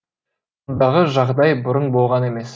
мұндағы жағдай бұрын болған емес